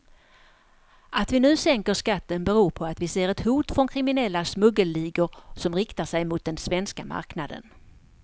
Att vi nu sänker skatten beror på att vi ser ett hot från kriminella smuggelligor som riktar sig mot den svenska marknaden.